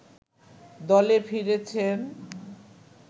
দলে ফিরেছেন